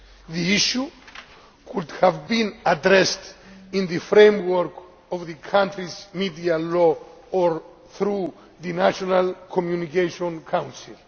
The issue could have been addressed within the framework of the country's media law or though the National Communication Council.